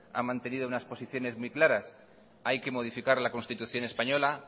ha mantenido unas posiciones muy claras hay que modificar la constitución española